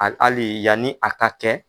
Ani ali yanni a ka kɛ